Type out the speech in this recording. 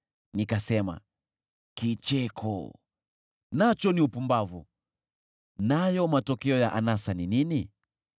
Nikasema, “Kicheko nacho ni upumbavu. Nayo matokeo ya anasa ni nini?”